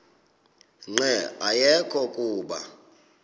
nqe ayekho kuba